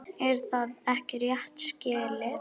Er það ekki rétt skilið?